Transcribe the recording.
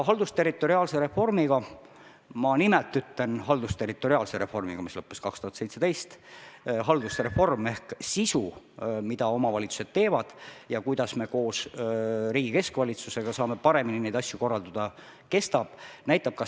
Haldusterritoriaalne reform – ma nimelt ütlen "haldusterritoriaalne reform" – lõppes 2017, aga haldusreform ehk sisu, mida omavalitsused teevad, ja viis, kuidas me koos riigi keskvalitsusega saame paremini neid asju korraldada, kestab edasi.